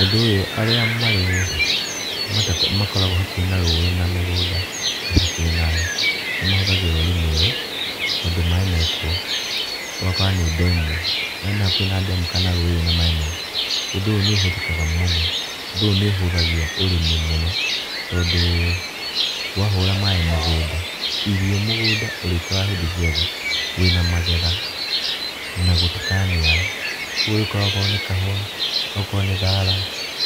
Ũndũ ũyũ arĩa marĩ, makoragwo hakuhĩ na rũĩ na mĩgũnda ĩhakuhĩ nayo, nĩ mahũthagĩra ũrĩmi ũyũ tondũ maaĩ mekuo. Ũgaokora nĩ ndemu arĩa me hakuhĩ na ndemu kana rũĩ rwĩna maaĩ maingĩ, ũndũ ũyũ nĩ ũhũthĩkaga mũno tondũ ũndũ ũyũ nĩ ũhũthagia ũrĩmi mũno. Tondũ, wahũra maaĩ mũgũnda irio mũgũnda ũrĩkoraga hĩndĩ ciothe wĩna magetha, na gũtikaniara. Koguo ũrĩkoraga akorwo nĩ kahũa, okorwo nĩ thara